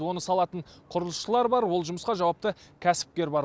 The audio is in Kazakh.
оны салатын құрылысшылар бар ол жұмысқа жауапты кәсіпкер бар